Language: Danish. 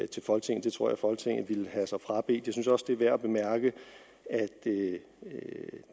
til folketinget det tror jeg folketinget vil have sig frabedt jeg synes også at det er værd at bemærke at